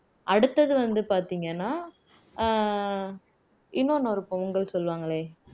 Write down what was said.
அடுத்தது வந்து பாத்தீங்கன்னா அஹ் இன்னொன்னு ஒரு பொங்கல் சொல்லுவாங்களே